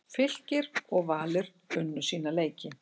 Fylkir og Valur unnu sína leiki